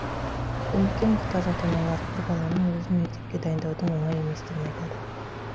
көмекке мұқтаж ата аналар бір баланың өзін мектепке дайындаудың оңай еместігін айтады